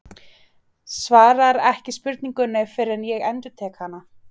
Svarar ekki spurningunni fyrr en ég endurtek hana.